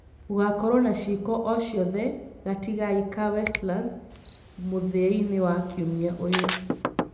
Gũgakorwo na ciiko o cithe gatigai ka Westlands mũthia-inĩ wa kiumia ũyũ